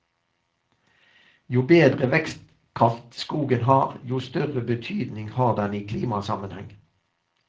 Jo bedre vekstkraft skogen har, jo større betydning har den i klimasammenheng.